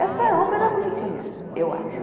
Essa roupa era bonitinha, eu acho.